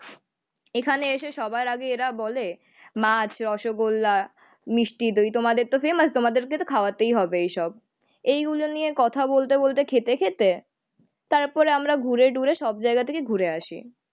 এখানে এসে সবার আগে এরা বলে মাছ, রসগোল্লা, মিষ্টি দই। তোমাদেরতো ফেমাস তোমাদেরকে তো খাওয়াতেই হবে এইসব। এইগুলো নিয়ে কথা বলতে বলতে খেতে খেতে তারপরে আমরা ঘুরে টুরে সবজায়গা থেকে ঘুরে আসি।